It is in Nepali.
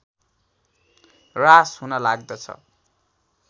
ह्रास हुन लाग्दछ